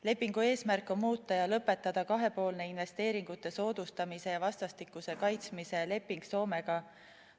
Lepingu eesmärk on muuta ja lõpetada kahepoolne investeeringute soodustamise ja kaitsmise leping Soomega.